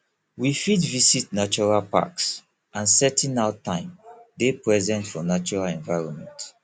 we fit visit natural packs and setting out time dey present for natural environment